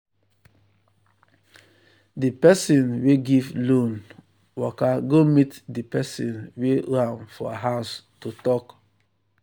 di person wey give loan waka go meet di person wey owe am for house to talk.